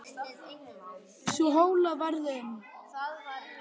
Sú hola varð um